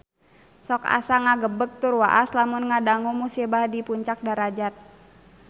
Sok asa ngagebeg tur waas lamun ngadangu musibah di Puncak Darajat